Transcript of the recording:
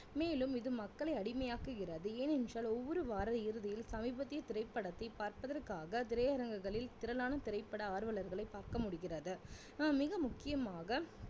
மேலும் இது மக்களை அடிமையாக்குகிறது ஏன் என்றால் ஒவ்வொரு வார இறுதியில் சமீபத்திய திரைப்படத்தை பார்ப்பதற்காக திரையரங்குகளில் திரளான திரைப்பட ஆர்வலர்களை பார்க்க முடிகிறது ஆஹ் மிக முக்கியமாக